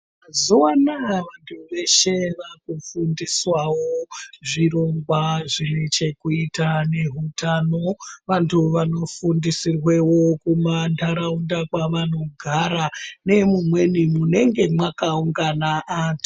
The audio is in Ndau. Mazuva anaya vantu veshe vaku fundiswawo zvirongwa zvine chekuita ne hutano vantu vano fundisirwe wo kuma ndaraunda kwavano gara ngemu mweni munenge maka ungana antu.